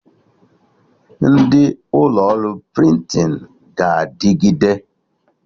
Ndị ụlọ ọrụ prịntịn ga-adịgide